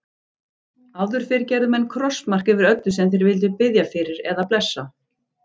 Áður fyrr gerðu menn krossmark yfir öllu sem þeir vildu biðja fyrir eða blessa.